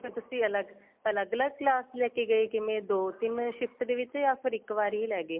ਤੁਸੀਂ ਅੱਲਗ ਅੱਲਗ ਅੱਲਗ class ਲੈਕੇ ਗਏ ਕਿਵੇਂ ਦੋ ਤਿੰਨ shift ਦੇ ਵਿੱਚ ਜਾਂ ਫੇਰ ਇੱਕ ਵਾਰੀ ਲੈ ਗਏ